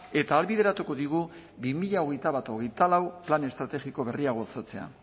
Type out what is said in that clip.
eta ahalbideratuko digu bi mila hogeita bat hogeita lau plan estrategiko berria gauzatzea